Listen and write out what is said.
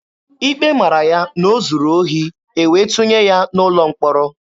Ikpe mara ya na o zuru ohi, e wee tụnye ya n'ụlọ mkpọrọ.